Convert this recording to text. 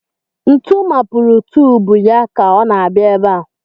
Ntu mapurù tùbù ya ka ọ na-abịa ebe a